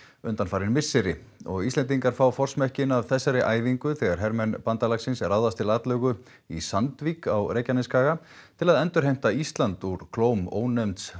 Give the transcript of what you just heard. undanfarin misseri og Íslendingar fá forsmekkinn af þessari æfingu þegar hermenn bandalagsins ráðast til atlögu í Sandvík á Reykjanesskaga til að endurheimta Ísland úr klóm ónefnds